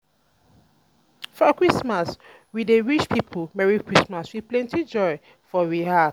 for christmas we dey wish pipo merry christmas with plenty joy for we heart.